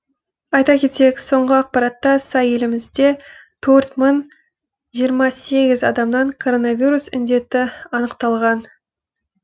айта кетейік соңғы ақпаратқа сай елімізде төрт мың жиырма сегіз адамнан коронавирус індеті анықталған